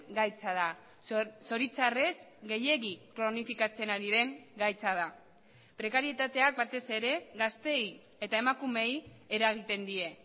gaitza da zoritxarrez gehiegi kronifikatzen ari den gaitza da prekarietateak batez ere gazteei eta emakumeei eragiten die